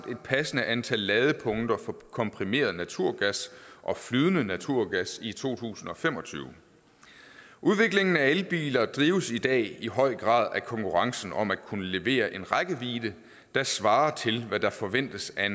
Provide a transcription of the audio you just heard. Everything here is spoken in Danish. og et passende antal ladepunkter for komprimeret naturgas og flydende naturgas i to tusind og fem og tyve udviklingen af elbiler drives i dag i høj grad af konkurrencen om at kunne levere en rækkevidde der svarer til hvad der forventes af